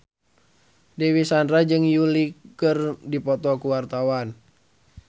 Dewi Sandra jeung Yui keur dipoto ku wartawan